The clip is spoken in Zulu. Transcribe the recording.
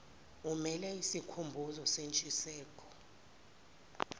amele isikhumbuzo sentshisekelo